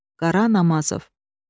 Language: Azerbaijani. Qara Namazov.